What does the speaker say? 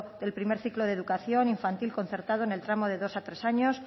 del primer ciclo de educación infantil concertado en el tramo de dos a tres años